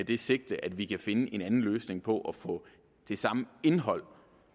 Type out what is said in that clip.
det sigte at vi kan finde en anden løsning på at få det samme indhold